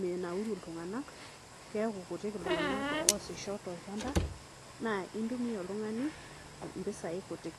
menauru ltunganak kekutik ltunganak oasita tolchamba na intumia oltungani mpisai kutik.